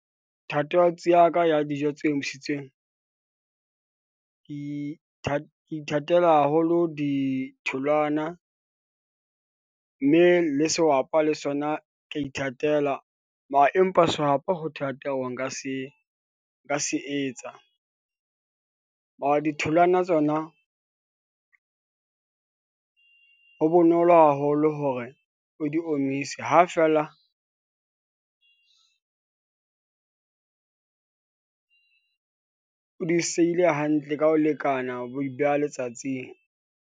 Thatohatsi ya ka ya dijo tse omisitsweng ke ke ithatela haholo ditholwana . Mme le sehwapa le sona ke ithatela mara, empa sehwapa ho thata, hore nka se, nka se etsa . Mara ditholwana tsona ho bonolo haholo hore o di omise, ha feela o di seile hantle ka ho lekana, o bo di beha letsatsing.